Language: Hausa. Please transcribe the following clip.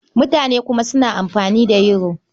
Mutane suna kuma amfani da Yoro.